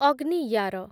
ଅଗ୍ନିୟାର